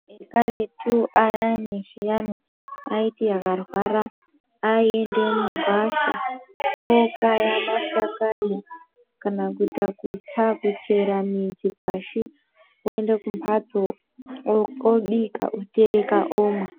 Vantu vekaretu ayani zviyani aiti akarwara aiende mugwasha okaya mashakani kana kuita kutsa kuchera mudzi pashi oende kumhatso koobika otereka omwa.